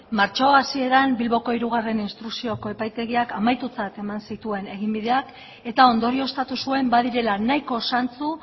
martxoa hasieran bilboko hiru instrukzioko epaitegiak amaitutzat eman zituen eginbideak eta ondorioztatu zuen badirela nahiko zantzu